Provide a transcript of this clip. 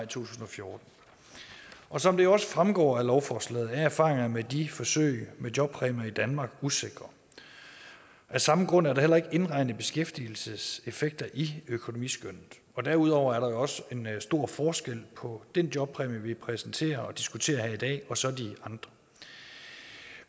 tusind og fjorten og som det jo også fremgår af lovforslaget er erfaringerne med de forsøg med jobpræmier i danmark usikre af samme grund er der heller ikke indregnet beskæftigelseseffekter i økonomiskønnet derudover er der jo også en stor forskel på den jobpræmie vi præsenterer og diskuterer her i dag og så de andre